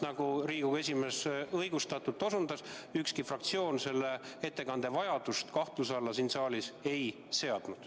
Nagu Riigikogu esimees õigustatult osutas: ükski fraktsioon selle ettekande vajadust kahtluse alla ei seadnud.